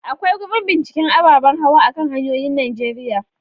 Akwai gurin binciken ababen hawa a kan hanyoyin Najeriya.